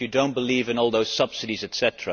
If you do not believe in all those subsidies etc.,